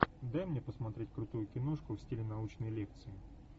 дай мне посмотреть крутую киношку в стиле научной лекции